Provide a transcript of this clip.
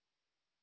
മനസ്സു പറയുന്നത്